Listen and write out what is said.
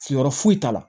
Sigiyɔrɔ foyi t'a la